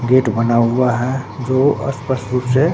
gate बना हुआ है जो स्पष्ट रूप से--